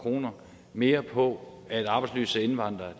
kroner mere på at arbejdsløse indvandrere